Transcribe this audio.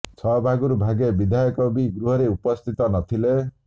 ଛଅ ଭାଗରୁ ଭାଗେ ବିଧାୟକ ବି ଗୃହରେ ଉପସ୍ଥିତ ନ ଥିଲେ